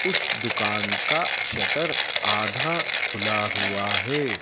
उस दुकान का शटर आधा खुला हुआ है।